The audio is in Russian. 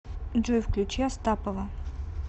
джой включи астапова